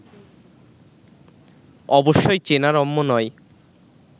অবশ্যই চেনা রম্য নয়